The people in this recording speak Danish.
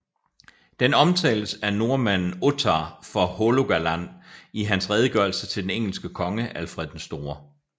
Den omtales af nordmanden Ottar fra Hålogaland i hans redegørelse til den engelske konge Alfred den Store